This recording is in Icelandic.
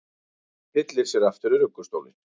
Tyllir sér aftur í ruggustólinn.